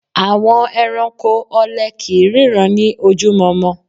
Àwọn ẹranko ọlẹ kìí ríran ní ojú mọmọ